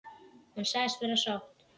Hún sagðist vera sátt.